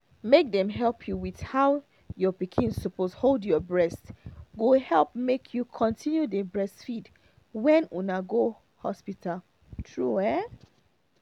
make dem help you with how your pikin suppose hold your breast go help make you continue dey breastfeed when una go hospital true ah